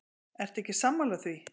Ertu ekki sammála því?